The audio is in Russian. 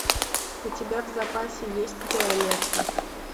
у тебя в запасе есть виолетта